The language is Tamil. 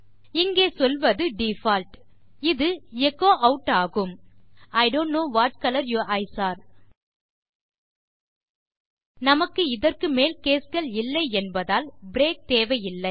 இங்கே சொல்வது டிஃபால்ட் இது எச்சோ ஆட் ஆகும் I don't know what colour your eyes are நமக்கு இதற்கு மேல் கேஸ் கள் இல்லை என்பதால் ப்ரேக் தேவையில்லை